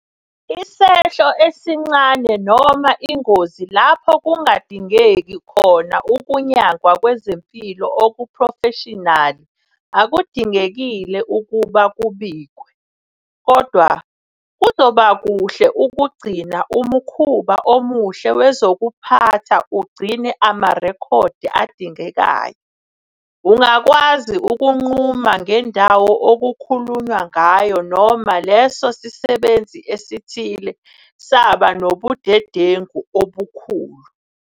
Isehlo esincane noma ingozi lapho kungadingeki khona ukunyangwa kwezempilo okuphrofeshinali akudingekile ukuba kubikwe. Kodwa, kuzoba kuhle ukugcina umukhuba omuhle wezokuphatha ugcine amarekhodi adingekayo, ungakwazi ukunquma ngendawo okukhulunywa ngayo noma leso sisebenzi esithile saba nobudedengu obukhulu.